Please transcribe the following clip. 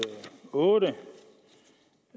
otte